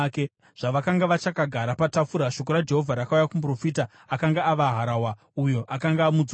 Zvavakanga vachakagara patafura, shoko raJehovha rakauya kumuprofita akanga ava harahwa, uyo akanga amudzosa.